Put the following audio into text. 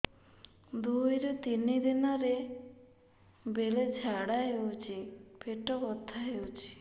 ଦୁଇରୁ ତିନି ଦିନରେ ବେଳେ ଝାଡ଼ା ହେଉଛି ପେଟ ବଥା ହେଉଛି